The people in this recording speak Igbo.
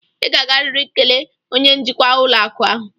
Ị ga-agarịrị kelee onye njikwa ụlọakụ ahụ!